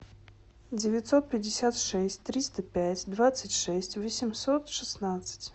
девятьсот пятьдесят шесть триста пять двадцать шесть восемьсот шестнадцать